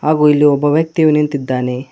ಹಾಗು ಇಲ್ಲಿ ಒಬ್ಬ ವ್ಯಕ್ತಿಯು ನಿಂತಿದ್ದಾನೆ.